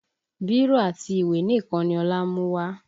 Bírò àti ìwé nìkan ni Ọlá mú wá